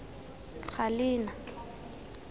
galena